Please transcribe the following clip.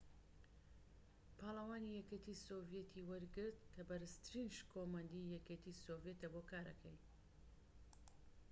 پاڵەوانی یەکێتی سۆڤیەت ی وەرگرت کە بەرزترین شکۆمەندیی یەکێتی سۆڤیەتە بۆ کارەکەی